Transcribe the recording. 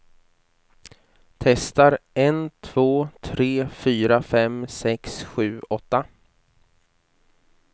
Testar en två tre fyra fem sex sju åtta.